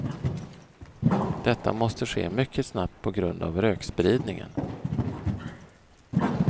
Detta måste ske mycket snabbt på grund av rökspridningen.